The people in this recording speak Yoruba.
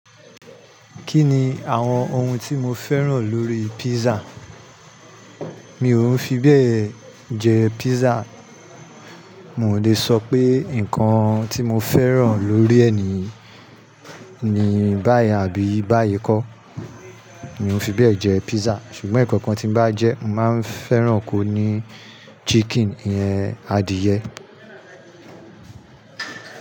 Kí ni àwọn ohun tí mo fẹ́ràn lórí písà? Mi ò ń fi bẹ́ẹ̀ jẹ písà. N ò le sọ pé nǹkan tí mo fẹ́ràn lórí e ni báyìí àbí báyìí kọ́. Mi ò ń fi bẹ́ẹ̀ jẹ písà. Ṣùgbọ́n ǹkan kan tí bá jẹ́, mo máa ń fẹ́ràn kó ní chicken iyen adìẹ.